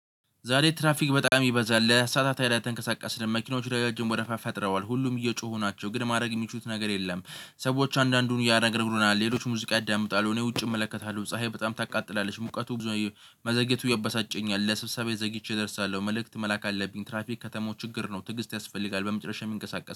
ዛሬ ትራፊክ በጣም ይበዛል ለሰአታት ያህል አልተንቀሳቀስንም መኪኖቹ ረጃጅም ወረፋ ፈጥረዋል ሁሉም እየጮሁ ናቸው ግን ማድረግ የሚችሉት ነገር የለም። ሰዎች አንዳንዱን ያነጋግሩናል ሌሎች ሙዚቃ ያዳምጣሉ። እኔ ውጭ እመለከታለሁ ፀሀይ በጣም ታቃጥላለች። ሙቀቱ መዘግየቱ ያበሳጨኛል ለስብሰባ ዘግይቼ ደርሳለሁ። መልእክት መላክ አለብኝ። ትራፊክ ከተማው ችግር ነው። ትዕግስት ያስፈልጋል በመጨረሻም